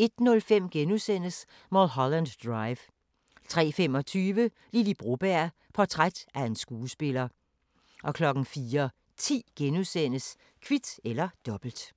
01:05: Mulholland Drive * 03:25: Lily Broberg – portræt af en skuespiller 04:10: Kvit eller Dobbelt *